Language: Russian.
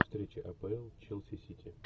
встреча апл челси сити